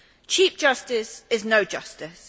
Cheap justice is no justice.